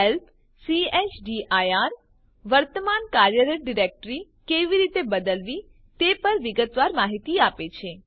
help chdir વર્તમાન કાર્યરત directory કેવી રીતે બદલવી તે પર વિગતવાર માહિતી આપે છે